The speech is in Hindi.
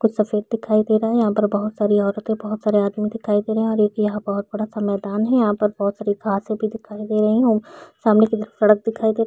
कुछ सफ़ेद दिखाई दे रहा है यहाँ पर बहोत सारी औरते बहोत सारे आदमी दिखाई दे रहे है और एक ये बहोत बड़ा सा मैदान है यहाँ पर बहोत सारी घासे भी दिखाई दे रही है सामने की तरफ सड़क दिखाई दे रही--